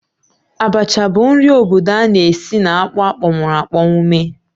Abacha bụ nri obodo a na-esi na akpụ akpọnwụrụ̀ akpọnwụ mee